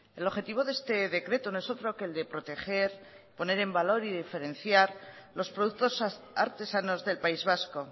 el objetivo de este decreto no es otro que el de proteger poner en valor y diferenciar los productos artesanos del país vasco